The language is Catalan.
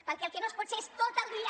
perquè el que no es pot fer és tot el dia